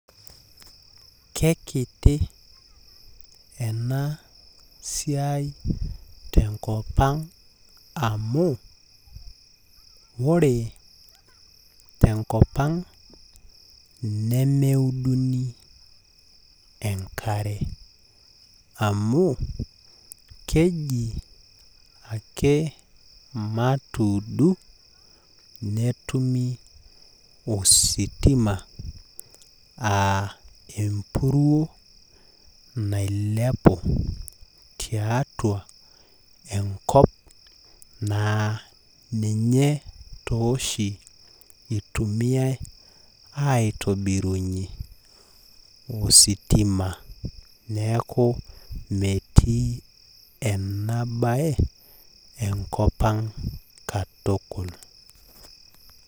Kekiti ena siai tenkop ang amu ore tenkop ang nemeuduni enkare amu keji ake matuudu netumi ositima aa empuruo nailepu tiatua enkop naa ninye tooshi aa ninye oshi itumiay aitobirunyie ositima niaku metii ena bae enkop ang.